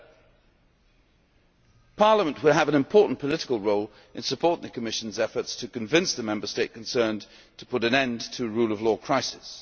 7. Parliament will have an important political role in supporting the Commission's efforts to convince the Member State concerned to put an end to the rule of law crisis.